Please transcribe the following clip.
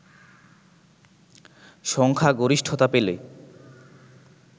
সংখ্যাগরিষ্ঠতা পেলে